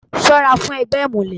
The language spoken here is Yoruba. Ṣọ́ra fún ẹgbẹ́ ìmùlẹ̀.